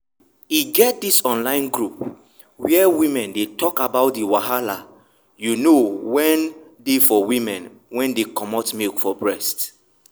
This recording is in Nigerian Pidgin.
e get this online group where women dey talk about the wahala you know wen dey for women wen dey comot milk from breast.